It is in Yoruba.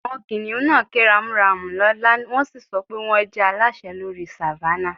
Àwọn kìnnìún náà ké ramúramù lọ́lá, wọ́n sì sọ pé wọ́n jẹ́ aláṣẹ lórí Savannah